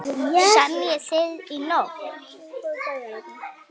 Semjið þið í nótt?